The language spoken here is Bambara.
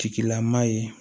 Tigilama ye